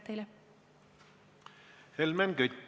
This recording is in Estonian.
Helmen Kütt, palun!